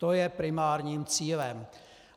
To je primárním cílem.